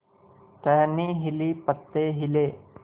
टहनी हिली पत्ते हिले